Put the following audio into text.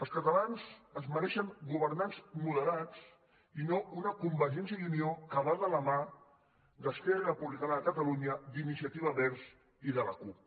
els catalans es mereixen governants moderats i no una convergència i unió que va de la mà d’esquerra republicana de catalunya d’iniciativa verds i de la cup